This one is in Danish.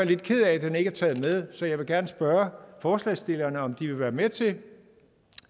lidt ked af at den ikke er taget med så jeg vil gerne spørge forslagsstillerne om de vil være med til